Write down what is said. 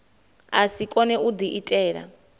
a si kone u diitela